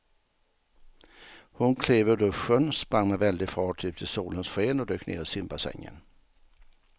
Hon klev ur duschen, sprang med väldig fart ut i solens sken och dök ner i simbassängen.